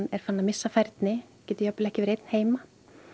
er farinn að missa færni getur jafnvel ekki verið einn heima